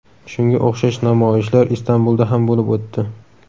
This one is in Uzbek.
Shunga o‘xshash namoyishlar Istanbulda ham bo‘lib o‘tdi.